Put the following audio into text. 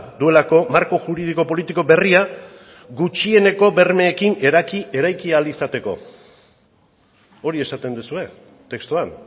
duelako marko juridiko politiko berria gutxieneko bermeekin eraiki ahal izateko hori esaten duzue testuan